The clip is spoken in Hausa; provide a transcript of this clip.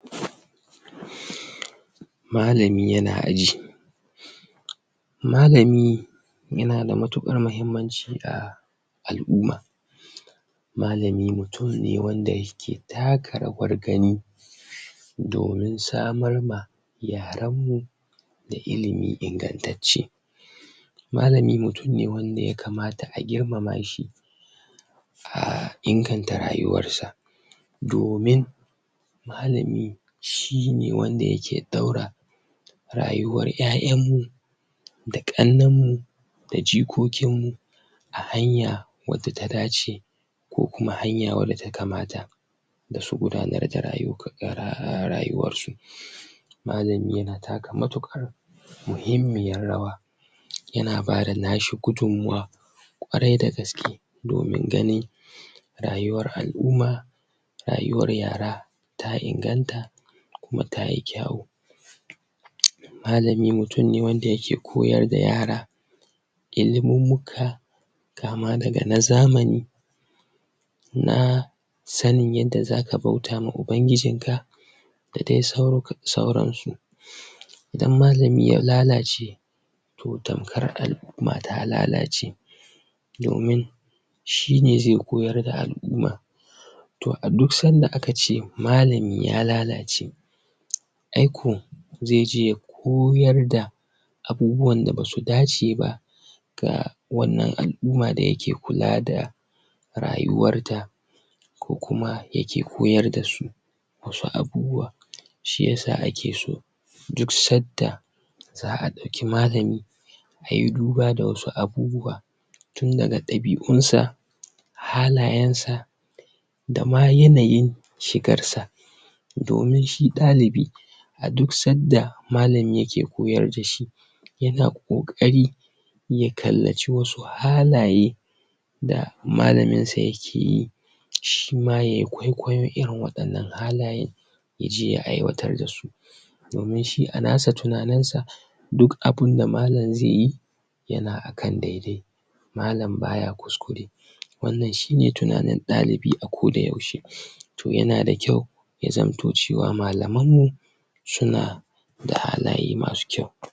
Malami yana aji, malami yana da matukar muhimmanci a al'umma malami mutum ne wanda yake taka rawar gani domin samar ma yaranmu da ilimi ingantacce, malami mutum ne wanda ya kamata a girmama shi a inganta rayuwarsa, domin malami shi ne wanda yake daura rayuwar yayanmu da kannenmu da jikokin mu a hanya wadda ta dace ko kuma hanya wadsa ta kamata don su gudanar da rayuwarsu, malamin yana taka mutukar muhimmiyar rawa yana bada nashi gudunmawar kwarai da gaske domin ganin rayuwar al'umma, rayuwar al'umma ta inganta kuma tayi kyau. Malami mutum ne wanda yake koyar da yara ilimimmika kama daga na zamani, na sanin yadda zaka bauta ma ubangijinka da dai sauransu. Idan malami ya lalace to tamkar al'umma lalace. Domin shi ne zai koyar da al'umma to a duk sanda aka ce malami ya lalace ai ko zai koyar da abubuwan da bai dace ba ga wannan al'umma da yake kula da rayuwarta ko kuma yake koyar dasu wasu abubuwa shi yasa ake so duk sanda za'a dauki malami ayi duba da wasu abubuwa tun daga dabiunsa halayensa da ma yanayin shigarsa domin shi dalibi a duk sanda malam yake koyar dashi yana kokari ya kallaci wasu halaye da malaminsa yake yi shima ya kwaikwaiyi irin wannan halaye yaje aiwatar dasu domin a nasa tunaninsa duk abinda malam zaiyi yana kan daidai malam baya kuskure, wannan shine tunanin dalibi a kodayaushe to yana da kyau ya zamto cewa malaman mu suna da halaye masu kyau.